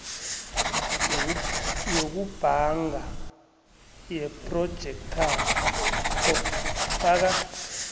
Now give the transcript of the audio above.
yokubhanga yephrojekthakho faka